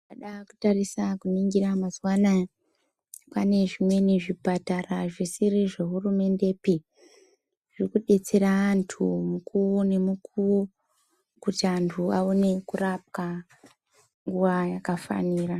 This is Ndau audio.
Tikada kutarisa kuningira mazuwa anaya ,kwaane zvimweni zvipatara zvisiri zvehurumendepi, zviri kudetsera antu mukuwo nemukuwo, kuti antu aone kurapwa, nguwa yakafanira.